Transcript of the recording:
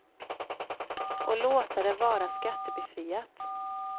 Och låta det vara skattebefriat.